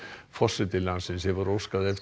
forseti landsins hefur óskað eftir